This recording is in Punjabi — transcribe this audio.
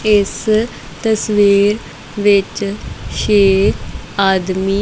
ਇਸ ਤਸਵੀਰ ਵਿੱਚ ਛੇ ਆਦਮੀ--